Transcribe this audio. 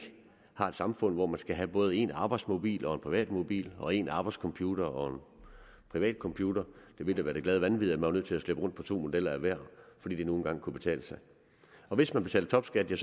har et samfund hvor man skal have både en arbejdsmobil og en privat mobil og en arbejdscomputer og en privat computer det ville da være det glade vanvid at man var nødt til at slæbe rundt på to modeller af hver fordi det nu engang kunne betale sig og hvis man betaler topskat er